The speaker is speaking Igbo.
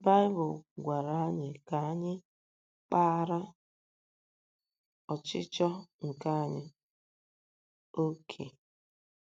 Baịbụl gwara anyị ka anyị kpaara “ ọchịchọ nke anya ” ókè.